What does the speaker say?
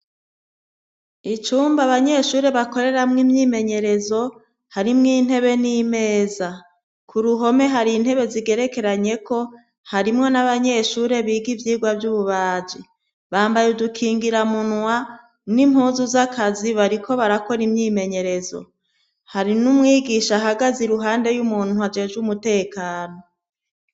Icumba abanyeshuri bakoreramwo imyimenyerezo harimwo intebe n'imeza ku ruhome hari intebe zigerekeranye ko harimwo n'abanyeshuri biga ivyigwa vy'ububaji bambaye udukingiramunwa n'impuzu z'akazi bariko barakora imyimenyerezo hari n'umwigisha ahagaze iruhande y'umuntu ajejwe umutekano.